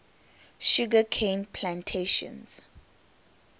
sugar cane plantations